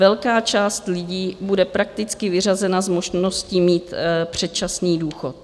Velká část lidí bude prakticky vyřazena z možností mít předčasný důchod.